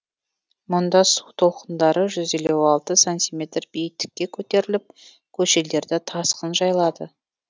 мұнда су толқындары жүз елу алты сантиметр биіктікке көтеріліп көшелерді тасқын жайлады